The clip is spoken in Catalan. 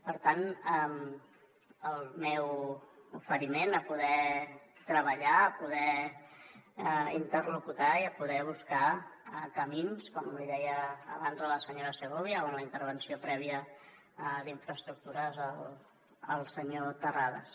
per tant el meu oferiment a poder treballar a poder interlocutar i a poder buscar camins com li deia abans a la senyora segovia o en la intervenció prèvia d’infraestructures al senyor terrades